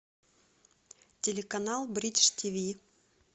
телеканал бридж тв